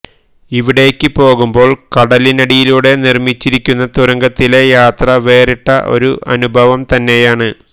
ഇവിടേയ്ക്ക് പോകുമ്പോൾ കടലിനടിയിലൂടെ നിർമ്മിച്ചിരിക്കുന്ന തുരങ്കത്തിലെ യാത്ര വേറിട്ട ഒരനുഭവം തന്നെയാണ്